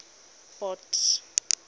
port